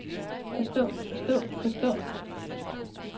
forstå forstå forstå